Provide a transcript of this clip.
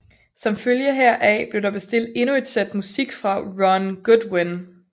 Som følge heraf blev der bestilt endnu et sæt musik fra Ron Goodwin